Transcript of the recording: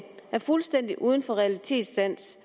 er fuldstændig uden realitetssans